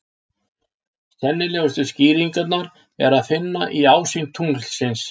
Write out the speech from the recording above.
Sennilegustu skýringuna er að finna í ásýnd tunglsins.